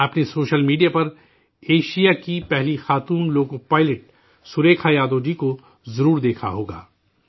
آپ نے social media پر، ایشیا کی پہلی خاتون لوکو پائلٹ سریکھا یادو جی کو ضرور دیکھا ہوگا